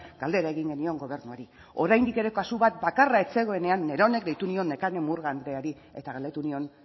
galdera egin genion gobernuari oraindik ere kasu bat bakarra ez zegoenean neronek deitu nion nekane murga andreari eta galdetu nion